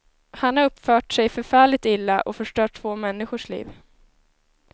Han har uppfört sig förfärligt illa, och förstört två människors liv.